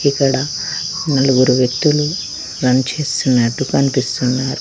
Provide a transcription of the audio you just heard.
ఇక్కడ నలుగురు వ్యక్తులు రన్ చేస్తున్నట్టు కనిపిస్తున్నారు.